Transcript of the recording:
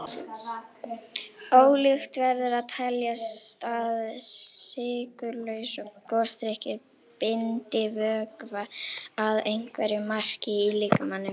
Ólíklegt verður að teljast að sykurlausir gosdrykkir bindi vökva að einhverju marki í líkamanum.